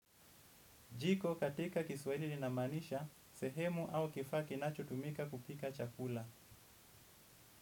Jiko katika kiswaili linamanisha, sehemu au kifaa kinacho tumika kupika chakula.